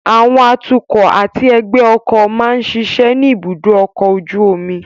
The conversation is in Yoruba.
Àwọn atukọ̀ àti ẹgbẹ́ ọkọ̀ máa ń ṣiṣẹ́ ní ibùdó ọkọ̀ ojú omi